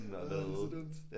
Ad det så dumt